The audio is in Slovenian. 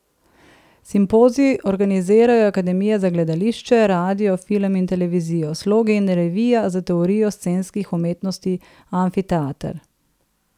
Simpozij organizirajo Akademija za gledališče, radio, film in televizijo, Slogi in revija za teorijo scenskih umetnosti Amfiteater.